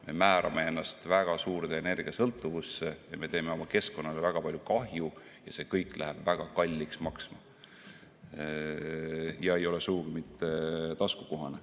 Me määrame ennast väga suurde energiasõltuvusse ja teeme oma keskkonnale väga palju kahju ja see kõik läheb väga kalliks maksma ega ole sugugi mitte taskukohane.